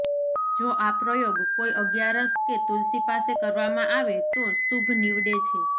જો આ પ્રયોગ કોઈ અગિયારસ કે તુલસી પાસે કરવામાં આવે તો શુભ નિવડે છે